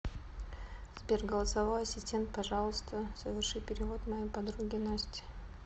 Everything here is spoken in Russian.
сбер голосовой ассистент пожалуйста соверши перевод моей подруге насте